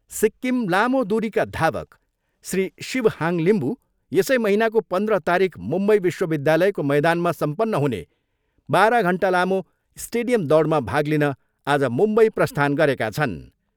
सिक्किम लामो दुरीका धावक श्री शिव हाङ लिम्बू यसै महिनाको पन्द्र तारिख मुम्बई विश्वविद्यालयको मैदानमा सम्पन्न हुने बाह्र घन्टा लामो स्टेडियम दौडमा भाग लिन आज मुम्बई प्रस्थान गरेका छन्।